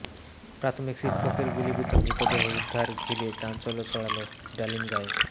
প্রাথমিক শিক্ষকের গুলিবিদ্ধ মৃতদেহ উদ্ধার ঘিরে চাঞ্চল্য ছড়ালো ডালিমগাঁয়ে